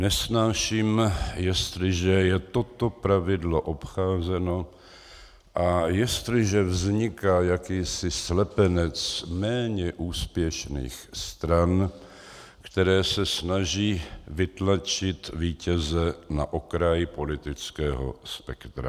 Nesnáším, jestliže je toto pravidlo obcházeno a jestliže vzniká jakýsi slepenec méně úspěšných stran, které se snaží vytlačit vítěze na okraj politického spektra.